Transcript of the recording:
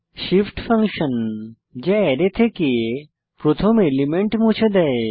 shift function যা array থেকে প্রথম এলিমেন্ট মুছে দেয়